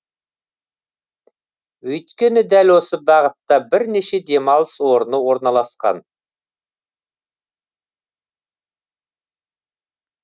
өйткені дәл осы бағытта бірнеше демалыс орны орналасқан